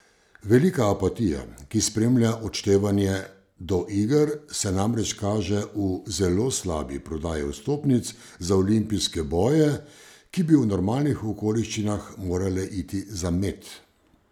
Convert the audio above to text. Velika apatija, ki spremlja odštevanje do iger, se namreč kaže v zelo slabi prodaji vstopnic za olimpijske boje, ki bi v normalnih okoliščinah morale iti za med.